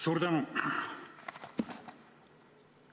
Suur tänu!